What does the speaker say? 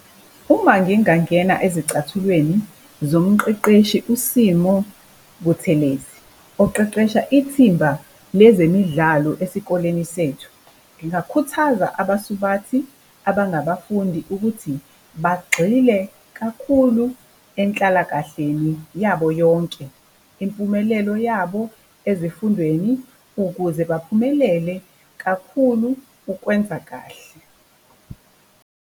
Uma ngingangena ezicathulweni zomqeqeshi uSimo Buthelezi, oqeqesha ithimba le zemidlalo esikoleni sethu, ngingakhuthaza abasubathi abangabafundi ukuthi bagxile kakhulu enhlalakahleni yabo yonke, impumelelo yabo ezifundweni ukuze baphumelele kakhulu ukwenza kahle.